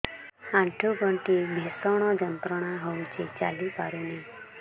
ଆଣ୍ଠୁ ଗଣ୍ଠି ଭିଷଣ ଯନ୍ତ୍ରଣା ହଉଛି ଚାଲି ପାରୁନି